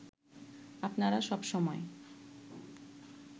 আপনারা সব সময়